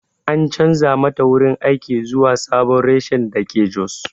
An chanza mata wurin aiki zuwa sabon reshen dake jos.